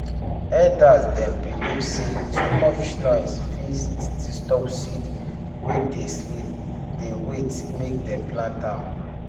elder dem believe say too much noise fit disturb seed wey dey sleep dey wait make dem plant am